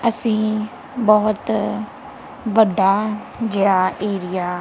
ਅਸੀਂ ਬਹੁਤ ਵੱਡਾ ਜਿਹਾ ਏਰੀਆ--